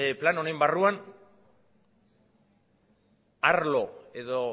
plan honen barruan arlo edo